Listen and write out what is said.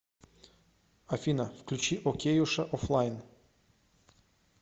афина включи океюша офлайн